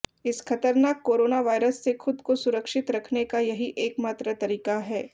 इस खतरनाक corona virus से खुद को सुरक्षित रखने का यही एकमात्र तरीका है